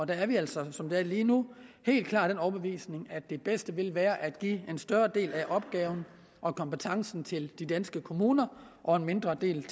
der er vi altså som det er lige nu helt klart af den overbevisning at det bedste vil være at give en større del af opgaven og kompetencen til de danske kommuner og en mindre del